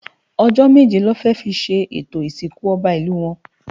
Ojò méjé lò fè fi ṣé étó Isinkú Òbá Ilú wòn